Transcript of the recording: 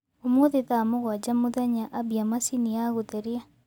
ũmũthĩ thaa mũgwanja mũthenya ambia machĩnĩ ya gutherĩa